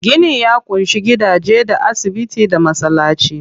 Gini ya ƙunshi gidaje, da asibiti, da masallaci.